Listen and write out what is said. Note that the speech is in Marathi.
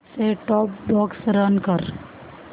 सेट टॉप बॉक्स रन कर